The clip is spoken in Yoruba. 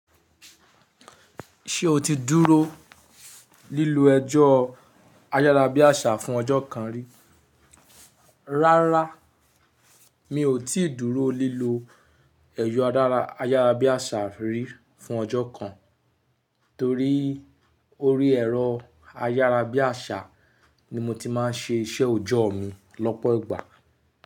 Ṣé o ti dúró lílọ ẹrọ́ ayárabíàṣá fún ọjọ́ kan rí? Rárá, mi ò tí dúró lílọ ẹ̀rọ ayárabíàṣà rí fún ọjọ́ kan, torí orí ẹ̀rọ ayárabíàṣá ni mo ti máa ń ṣe iṣẹ́ òjọ́ mi lọ́pọ̀ ìgbà.